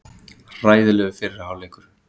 Hræðilegur fyrri hálfleikur